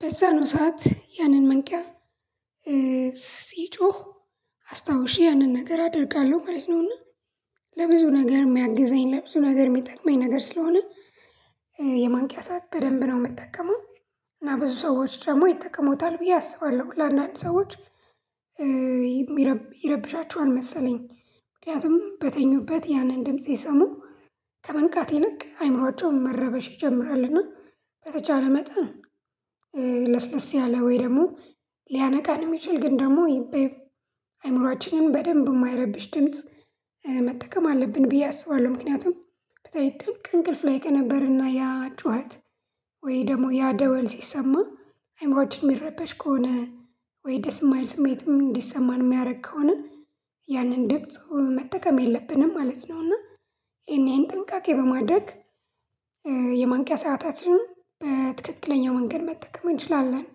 በዛ ነው ሰዓት ያንን መንቂያ ሲጮህ አስታውሼ ያንን ነገር አደርጋለሁ ማለት ነው። እና ለብዙ ነገር ሚያግዘኝ ለብዙ ነገር ሚጠቅመኝ ነገር ስለሆነ የማንቂያ ሰዓት በደንብ ነው ምጠቀመው። እና ብዙ ሰዎች ደግሞ ይጠቀሙታል ብዬ አስባለሁ ለአንዳንድ ሰዎች ይረብሻቸዋል መሰለኝ። ምክንያቱም በተኙበት ያንን ድምጽ ሲሰሙ ከመንቃት ይልቅ አእምሮአቸው መረበሽ ይጀምራልና በተቻለ መጠን ያለ ወይ ደግሞ ሊያነቃን የሚችል ግን ደግሞ አይምሮአችንን በደንብ ማይረብሽ ድምጽ መጠቀም አለብን ብዬ አስባለሁ። ምክንያቱም በተለይ ጥልቅ እንቅልፍ ላይ ከነበርን እና ያ ጩኸት ወይ ደግሞ ያ ደወል ሲሰማ አእምሯችን ሚረበሽ ከሆነ ወይ ደስ ማይል ስሜትም እንዲሰማን ሚያረግ ከሆነ ያንን ድምጽ መጠቀም የለብንም ማለት ነው። እና ይሄን ይሄን ጥንቃቄ በማድረግ የማንቂያ ሰአታችንን በትክክለኛው መንገድ መጠቀም እንችላለን።